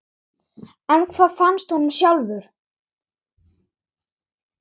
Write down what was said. En hvað finnst honum sjálfum?